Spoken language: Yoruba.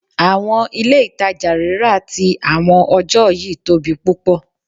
Awọn ile-itaja rira ti awọn ọjọ yii tobi pupọ